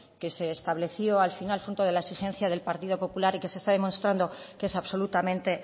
que se estableció al final fruto de la exigencia del partido popular y que se está demostrando que es absolutamente